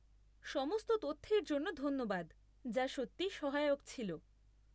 সমস্ত তথ্যের জন্য ধন্যবাদ, যা সত্যি সহায়ক ছিল।